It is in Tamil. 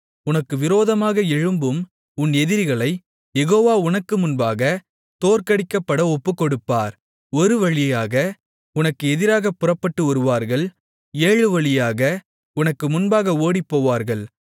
உனக்கு விரோதமாக எழும்பும் உன் எதிரிகளைக் யெகோவா உனக்கு முன்பாக தோற்கடிக்கப்பட ஒப்புக்கொடுப்பார் ஒரு வழியாக உனக்கு எதிராகப் புறப்பட்டு வருவார்கள் ஏழு வழியாக உனக்கு முன்பாக ஓடிப்போவார்கள்